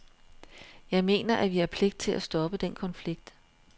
Jeg mener, at vi har pligt til at stoppe den konflikt.